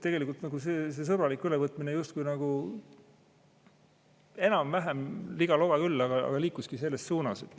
Tegelikult see sõbralik ülevõtmine justkui nagu enam-vähem, liga-loga küll, aga liikuski selles suunas.